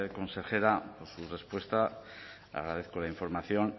consejera por su respuesta agradezco la información